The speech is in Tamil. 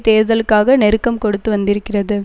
தேர்தலுக்காக நெருக்கம் கொடுத்து வந்திருக்கிறது